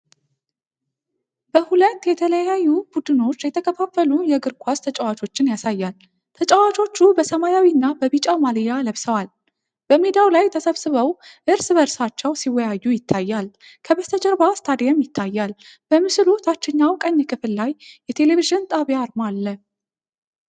በሁለት የተለያዩ ቡድኖች የተከፋፈሉ የእግር ኳስ ተጫዋቾችን ያሳያል። ተጫዋቾቹ በሰማያዊና በቢጫ ማልያ ለብሰዋል። በሜዳው ላይ ተሰብስበው እርስ በእርሳቸው ሲወያዩ ይታያል። ከበስተጀርባ ስታዲየም ይታያል፤ በምስሉ ታችኛው ቀኝ ክፍል ላይ የቴሌቪዥን ጣቢያ አርማ አለ።